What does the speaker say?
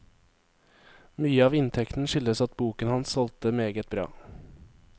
Mye av inntekten skyldes at boken hans solgte meget bra.